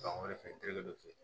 Ban wɛrɛ fɛ terikɛ dɔ fɛ